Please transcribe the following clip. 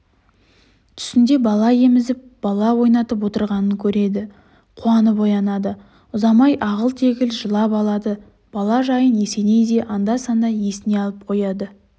түсінде бала емізіп бала ойнатып отырғанын көреді қуанып оянады ұзамай ағыл-тегіл жылап алады бала жайын есеней де анда-санда есіне алып қояды